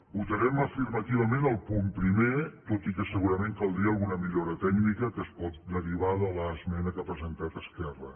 votarem afirmativament el punt primer tot i que segurament caldria alguna millora tècnica que es pot derivar de l’esmena que ha presentat esquerra